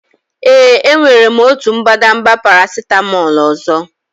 Ee, enwere m otu mbadamba paracetamol ọzọ.